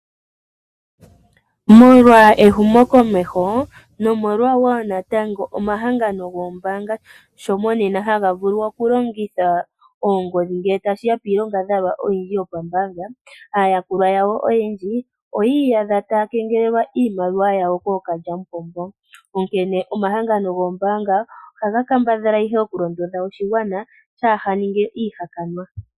Molwa ehumokomeho nomolwa wo omahangano goombaanga sho monena haga vulu okulongitha oongodhi ngele tashi ya piilongadhalwa oyindji yombaanga, aayakulwa oyendji oyi iyadha taya kengelelwa iimaliwa yawo kookalyamupombo. Onkene omahangano goombaanga ohaga kambadhala ihe okulondodha oshigwana kaashi ninge iihakanwa.